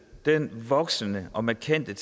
den voksende og markante